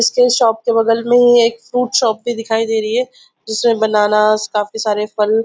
इसके शॉप के बगल में ही एक फ्रूट शॉप दिखाई दे रही है जिसमे बनानास काफी सारे फल--